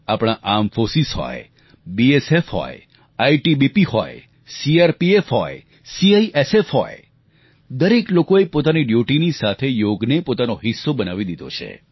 આપણી armed force હોય BSF હોય આઈટીબીપી હોય સીઆરપીએફ હોય સીઆઇએસએફ હોય દરેક લોકોએ પોતાની ડ્યૂટીની સાથે યોગને પોતાનો હિસ્સો બનાવી લીધો છે